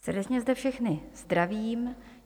Srdečně zde všechny zdravím.